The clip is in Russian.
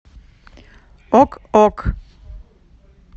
ок ок